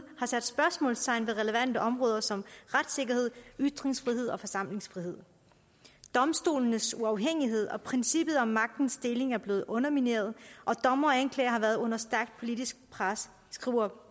har sat spørgsmålstegn ved relevante områder som retssikkerhed ytringsfrihed og forsamlingsfrihed domstolenes uafhængighed og princippet om magtens deling er blevet undermineret og dommere og anklagere har været under stærkt politisk pres skriver